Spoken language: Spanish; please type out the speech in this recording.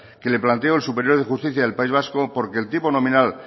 que le planteó el superior de justicia del país vaco porque el tipo nominal